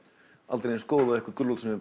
aldrei eins góð og gulrót sem er